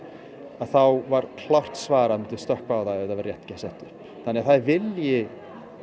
þá var klárt svar að þau myndu stökkva á það ef það væri rétt sett upp þannig það er vilji